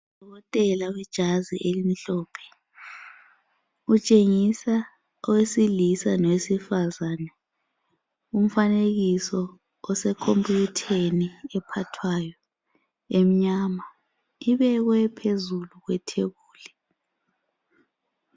UDokotela wejazi elimhlophe utshengisa owesilisa lowesifazana umfanekiso osekhompiyutheni ephathwayo emnyama ibekwe phezulu kwethebuli